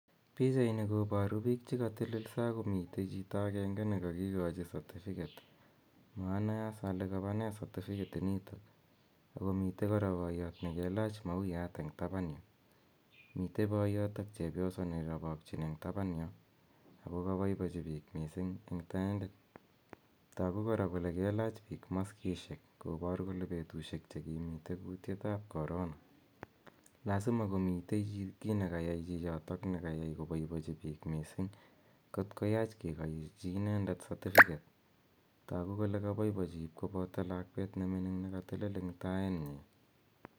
Pichaini koboru piik che katelelso ak komite chito akenge ne kakikochi certificate, monoe as ole kabane certificate inito, ako mitei kora boiyot ne kelach mauyat eng taban yu, mitei boiyot ak chepyoso ne irobokchin eng taban yo, ako kabaibochi piik mising, toku kora kole kelach piik maskisiek kobor kole betusiek che kimitei kuutietab corona lazima komite kiit ne kayai chichoto ne keyai koboibochi piik mising, kot koyach kikochi inendet certificate toku kole kaboibochi ip koboto lakwet ne mining ne katelel eng tainyi.